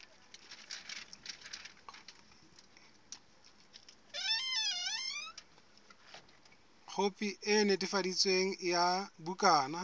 khopi e netefaditsweng ya bukana